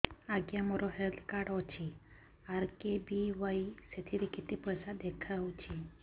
ଆଜ୍ଞା ମୋର health card ଅଛି ଆର୍.କେ.ବି.ୱାଇ ସେଥିରେ କେତେ ପଇସା ଦେଖଉଛି